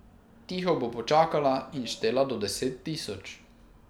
Tiho bo počakala in štela do deset tisoč.